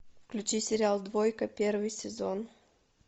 включи сериал двойка первый сезон